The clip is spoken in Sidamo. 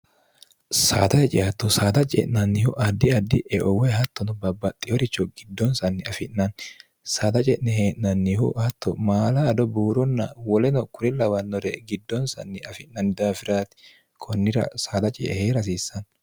saada heceatto saada ce'nannihu addi addi eowoy hattono babbaxxi horicho giddonsanni afi'nanni saada ce'ne hee'nannihu hatto maala ado buuronna woleno kuri lawannore giddonsanni afi'nanni daafiraati kunnira saada ceehee'rhasiissanni